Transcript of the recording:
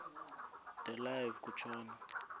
de live kutshona